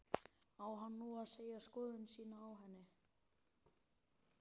Á hann nú að segja skoðun sína á henni?